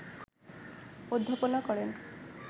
অধ্যাপনা করেন